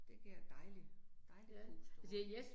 Det giver dejligt, dejligt pusterum